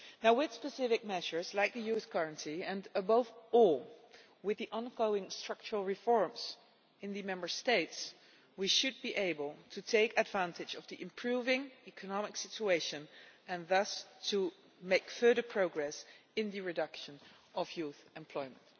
With specific measures like the Youth Guarantee and, above all, with the ongoing structural reforms in the Member States, we should be able to take advantage of the improving economic situation and, thus, to make further progress in the reduction of youth unemployment.